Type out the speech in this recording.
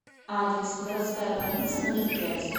адрес городская больница номер пять